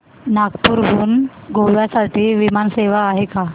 नागपूर हून गोव्या साठी विमान सेवा आहे का